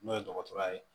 N'o ye dɔgɔtɔrɔya ye